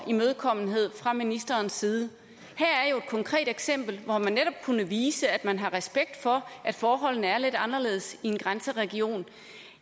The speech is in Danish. imødekommenhed fra ministerens side her er jo et konkret eksempel hvor man netop kunne vise at man har respekt for at forholdene er lidt anderledes i en grænseregion